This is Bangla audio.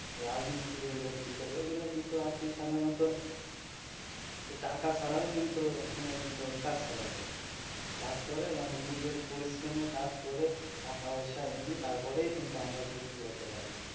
রাজমিস্তিরি electrical এইগুলো কিন্তু আর কি সাধারণত টাকা ছাড়াও কিন্তু ওখানে কিন্তু কাজ করা যায় কাজ করে মানে নিজের পরিশ্রমে কাজ করে টাকা পয়সা এনে তারপরেই কিন্তু আমরা ঘুরতে যাইতে পারি.